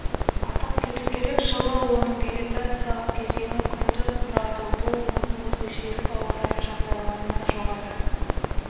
атап кету керек жылы оның вегетациялық кезеңі күнді құрады бұл оның өзгергіш ауа-райы жағдайларына жоғары